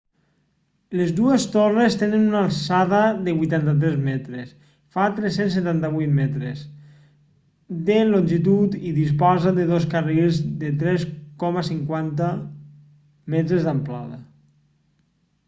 les dues torres tenen una alçada de 83 metres fa 378 metres de longitud i disposa de dos carrils de 3,50 metres d'amplada